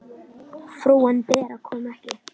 Frúin Bera kom ekki.